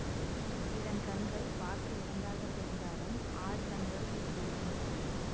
இதன் கண்கள் பார்க்க இரண்டாகத் தெரிந்தாலும் ஆறு கண்கள் இதில் இருக்கின்றன